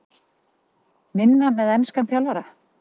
Minna með enskan þjálfara?